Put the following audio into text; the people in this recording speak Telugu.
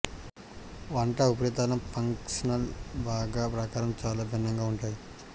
వంట ఉపరితలం ఫంక్షనల్ భాగం ప్రకారం చాలా భిన్నంగా ఉంటాయి